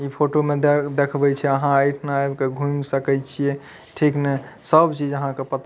इ फोटो में दे देखवे छै अहाँ एठाना आके घूम सकय छीये ठीक ने सब चीज अहाँ के पता --